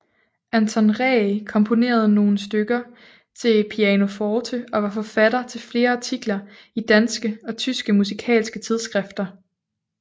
Anton Ree komponerede nogle stykker til pianoforte og var forfatter til flere artikler i danske og tyske musikalske tidsskrifter